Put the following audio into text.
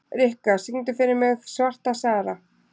Rikka, syngdu fyrir mig „Svarta Sara“.